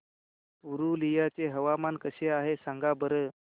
पुरुलिया चे हवामान कसे आहे सांगा बरं